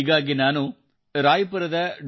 ಹೀಗಾಗಿ ನಾನು ರಾಯ್ ಪುರದ ಡಾ